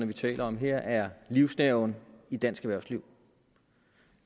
vi taler om her er livsnerven i dansk erhvervsliv